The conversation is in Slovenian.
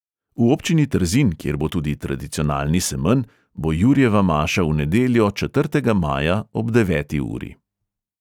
V občini trzin, kjer bo tudi tradicionalni semenj, bo jurjeva maša v nedeljo, četrtega maja, ob deveti uri.